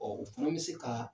u fana bɛ se ka